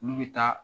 Olu bɛ taa